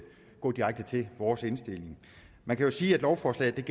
gå direkte til vores indstilling man kan jo sige at lovforslaget